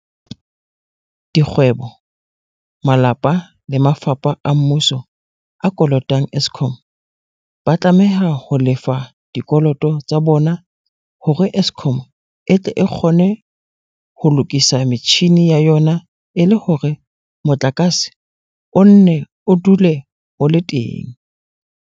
Dikgwe bo, malapa le mafapha a mmuso a kolotang Eskom, ba tlameha ho lefa dikoloto tsa bona hore Eskom e tle e kgone ho lokisa metjhini ya yona e le hore motlakase o nne o dule o le teng.